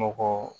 Mɔgɔ